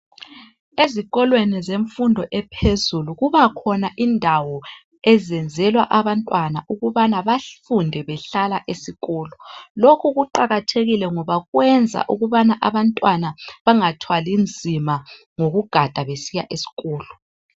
Ezikolweni zemfundo ephezulu kuba khona indawo ezenzelwa abantwana ukubana bafunde behlala esikolo. Lokhu kuqakathekile ngoba kwenza ukubana abantwana bangathwali nzima ngokugada besiya esikolo.